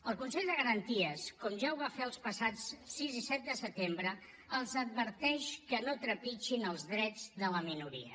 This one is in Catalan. el consell de garanties com ja ho va fer els passats sis i set de setembre els adverteix que no trepitgin els drets de la minoria